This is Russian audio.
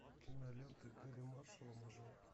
кинолента гэрри маршалла мажор